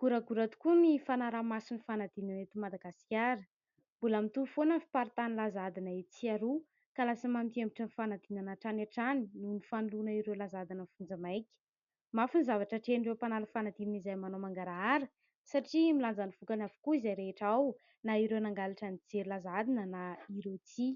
Goragora tokoa ny fanaraha-mason'ny fanadinana eto Madagasikara. Mbola mitohy foana ny fiparitahan'ny laza adina etsy sy aroa ka lasa mampihemotra ny fanadinana hatrany hatrany noho ny fanoloana ireo laza adina ny vonjy maika. Mafy ny zavatra atrehan'ireo mpanala fanadinana izay manao mangarahara satria milanja ny vokany avokoa izay rehetra ao na ireo nangalatra nijery laza adina na ireo tsia.